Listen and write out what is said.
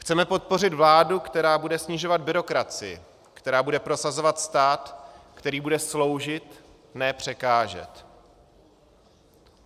Chceme podpořit vládu, která bude snižovat byrokracii, která bude prosazovat stát, který bude sloužit, ne překážet.